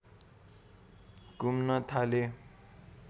घुम्न थाले